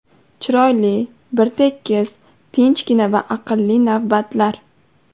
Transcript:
Chiroyli, bir tekis, tinchgina va aqlli navbatlar.